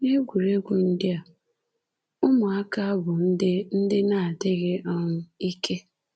N’egwuregwu ndị a, ụmụaka bụ ndị ndị na-adịghị um ike”